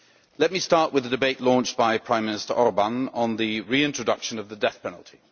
Let me start with the debate launched by Prime Minister Orbán on the reintroduction of the death penalty.